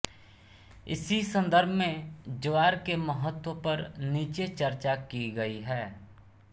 इसी संदर्भ में ज्वार के महत्व पर नीचे चर्चा की गयी है